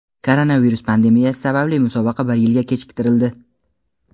Koronavirus pandemiyasi sababli musobaqa bir yilga kechiktirildi.